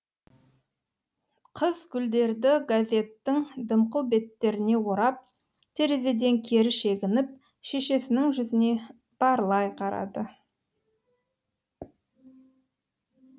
қыз гүлдерді газеттің дымқыл беттеріне орап терезеден кері шегініп шешесінің жүзіне барлай қарады